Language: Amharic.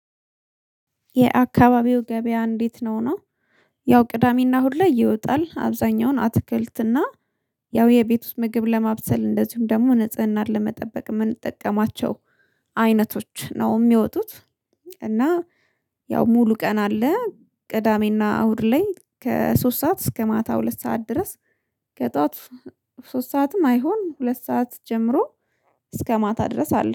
የአካባቢው ገበያ እንዴት ነው? ነው ያው ቅዳሜና ሁሌ ይወጣል። አብዛኛውን አትክልትና እና ያው የቤት ውስጥ ምግብ ለማብሰል እንደዚሁም ደግሞ ንጽህናን ለመጠበቅ የምንጠቀማቸው አይነቶች ነው የሚወጡት እና ያው ሙሉ ቀን አለ ቅዳሜና አሁድ ላይ ከሶስት ሰዓት እስከ ማታ ሁለት ሰዓት ድረስ ከጠዋት ሶስት ሰዓትም አይሆን ሁለት ሰዓት ጀምሮ እስከ ማታ ድረስ አለ።